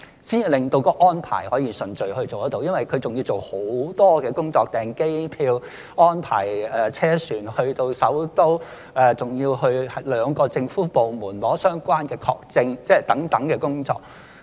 因為申請人還要做很多工作：包括訂機票、安排車船到首都，還要去兩個政府部門領取相關的證件等工作。